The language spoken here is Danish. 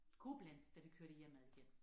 Koblenz da vi kørte hjemad igen